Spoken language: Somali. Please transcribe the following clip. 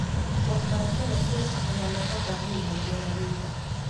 Waxbarashada suuqa ayaa looga baahan yahay beeralayda.